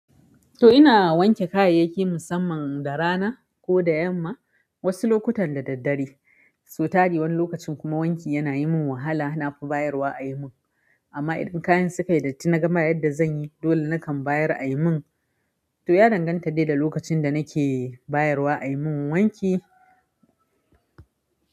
To ina wanke kayayyaki musamman da rana ko da yamma wasu lokutan da daddare, sau tari wani lokacin kuma wanki yana yi min wahala na fi bayarwa a yi mun. Amma idan kayan sukayi datti naga ba yadda zan yi dole nakan bayar a yi mun. To ya danganta dai da lokacin da nake bayarwa a yi mun wanki.